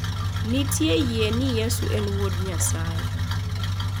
Nitie yie ni Yesu ne en wuod Nyasaye.